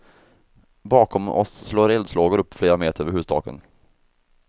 Bakom oss slår eldslågor upp flera meter över hustaken.